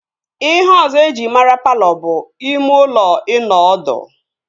Ihe ọzọ eji mara palọ bụ ime ụlọ ịnọ ọdụ